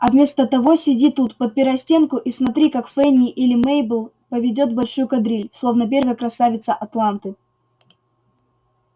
а вместо того сиди тут подпирай стенку и смотри как фэнни или мейбелл поведёт большую кадриль словно первая красавица атланты